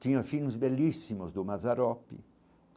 Tinha filmes belíssimos do Mazzaropi.